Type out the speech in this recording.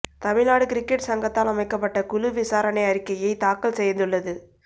Tamil Nadu cricket சங்கத்தால் அமைக்கப்பட்ட குழு விசாரணை அறிக்கையை தாக்கல் செய்துள்ளது